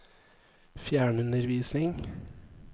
fjernundervisning